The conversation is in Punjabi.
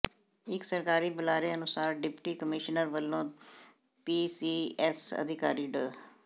ਇਕ ਸਰਕਾਰੀ ਬੁਲਾਰੇ ਅਨੁਸਾਰ ਡਿਪਟੀ ਕਮਿਸ਼ਨਰ ਵੱਲੋਂ ਪੀ ਸੀ ਐਸ ਅਧਿਕਾਰੀ ਡਾ